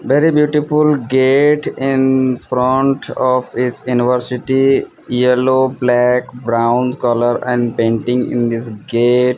very beautiful gate in front of his University yellow black brown colour and painting in this gate.